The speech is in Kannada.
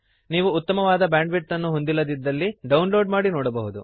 ನೀವು ಉತ್ತಮವಾದ ಬ್ಯಾಂಡ್ವಿಡ್ತ್ ಅನ್ನು ಹೊಂದಿಲ್ಲದಿದ್ದರೆ ಡೌನ್ಲೋಡ್ ಮಾಡಿ ನೋಡಬಹುದು